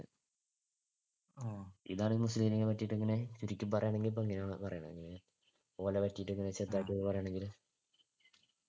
ഇതാണ് മുസ്ലീം ലീഗിനെ പറ്റിയിട്ട് ഇങ്ങനെ ചുരുക്കി പറയാണെങ്കിൽ ഇങ്ങനെ പറയണത് ഓനെപറ്റി ചെറുതായിട്ട് പറയാണെങ്കിൽ